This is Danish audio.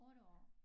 8 år